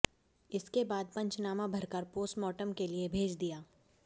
इसके बाद पंचनामा भरकर पोस्टमॉर्टम के लिए भेज दिया